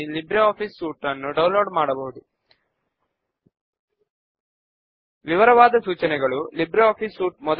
ఇప్పుడు మన library database ను ఓపెన్ చేద్దాము